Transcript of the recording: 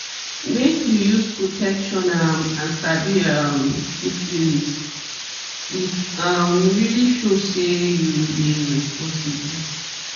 make you use protection um and sabi um syphilis it um really show say you dey responsible